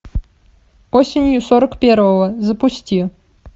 осенью сорок первого запусти